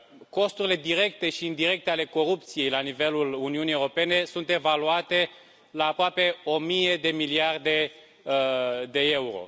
Costurile directe și indirecte ale corupției la nivelul Uniunii Europene sunt evaluate la aproape o mie de miliarde de euro.